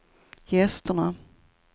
gästerna